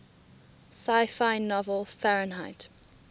sci fi novel fahrenheit